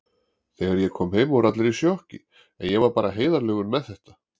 Þegar ég kom heim voru allir í sjokki, en ég var bara heiðarlegur með þetta.